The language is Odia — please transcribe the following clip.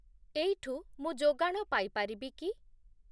ଏଇଠୁ ମୁଁ ଯୋଗାଣ ପାଇ ପାରିବି କି?